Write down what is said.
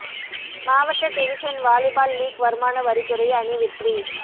மாவட்ட division volleyball league வருமான வரித் துறை அணி வெற்றி